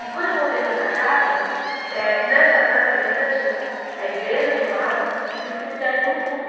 E quando eu voltei para essa casa, eh nessa nessa avenida tinha a igreja de um lado e o cemitério no fundo.